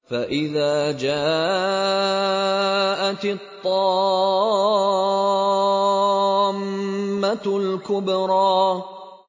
فَإِذَا جَاءَتِ الطَّامَّةُ الْكُبْرَىٰ